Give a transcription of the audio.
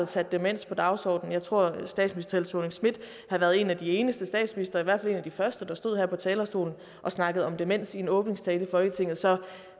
satte demens på dagsordenen jeg tror at statsminister helle thorning schmidt har været en af de eneste statsministre og i hvert fald en af de første der stod her på talerstolen og snakkede om demens i en åbningstale i folketinget så